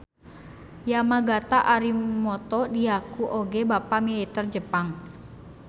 Yamagata Aritomo diaku oge bapak militer Jepang.